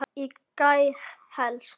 Í gær helst.